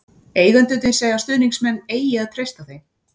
Eigendurnir segja að stuðningsmenn eigi að treysta þeim.